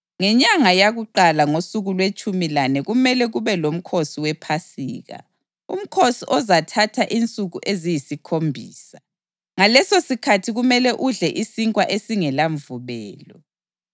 Ngenyanga yakuqala ngosuku lwetshumi lane kumele kube lomkhosi wePhasika, umkhosi ozathatha insuku eziyisikhombisa, ngalesosikhathi kumele udle isinkwa esingelamvubelo.